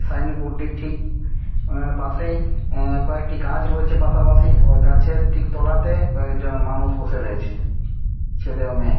Sign বোর্ডটির ঠিক পাশেই অ্যা-- কয়েকটি গাছ রয়েছে পাশাপাশি ওই গাছের ঠিক তলাতে কয়েকজন মানুষ বসে রয়েছে ছেলে ও মেয়ে।